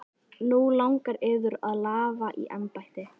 Nú langar yður að lafa í embætti?